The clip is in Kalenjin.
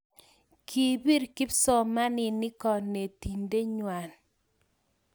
kibir kipsomaninik konetinte ngwang.